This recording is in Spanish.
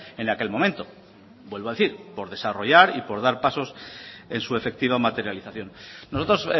en aquel momento vuelvo a decir por desarrollar y por dar pasos en su efectiva materialización nosotros